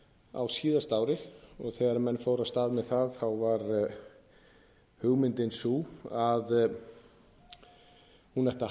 á síðasta ári og þegar menn fóru af stað með það var hugmyndin sú að hún ætti að